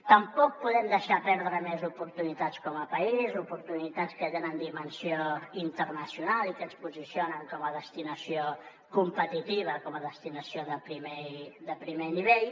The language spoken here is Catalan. tampoc podem deixar perdre més oportunitats com a país oportunitats que tenen dimensió internacional i que ens posicionen com a destinació competitiva com a destinació de primer nivell